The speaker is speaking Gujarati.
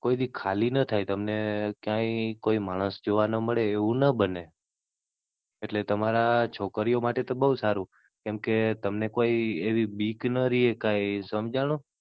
કોઈ દી ખાલી ન થાય. તમને ક્યાય કોઈ માણસ ન જોવા મળે એવું ન બને. એટલે તમારા છોકરીઓ માટે તો બઉ સારું કેમ કે તમને કોઈ એવી બીક ન રેહ કાઈ સમજાણું.